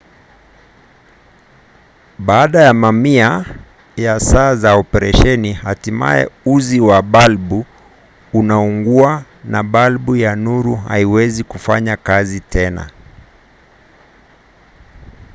baada ya mamia ya saa za operesheni hatimaye uzi wa balbu unaungua na balbu ya nuru haiwezi kufanya kazi tena